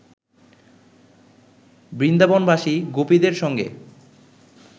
বৃন্দাবনবাসী গোপীদের সঙ্গে